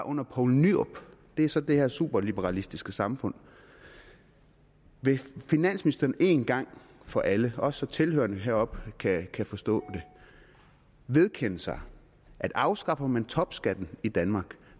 under poul nyrup det er så det her superliberalistiske samfund vil finansministeren en gang for alle også så tilhørerne deroppe kan forstå det vedkende sig at afskaffer man topskatten i danmark